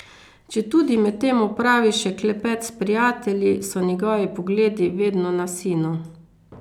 Četudi med tem opravi še klepet s prijatelji, so njegovi pogledi vedno na sinu.